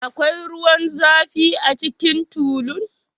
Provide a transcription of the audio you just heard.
Akwai ruwan zafi a cikin tulun?